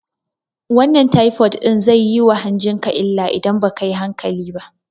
Wannan taifod ɗin zai yi ma hanjin ka illa idan ba kayi hankali ba